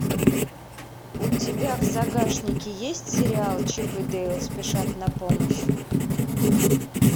у тебя в загашнике есть сериал чип и дейл спешат на помощь